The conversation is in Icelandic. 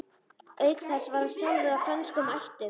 Auk þess var hann sjálfur af frönskum ættum.